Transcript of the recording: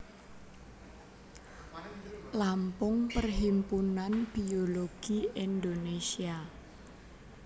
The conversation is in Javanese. Lampung Perhimpunan Biologi Indonesia